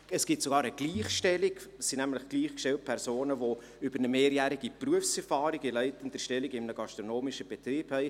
Es gibt zwar eine Gleichstellung, es sind nämlich gleichgestellte Personen, die eine mehrjährige Berufserfahrung in leitender Stellung in einem gastronomischen Betrieb haben.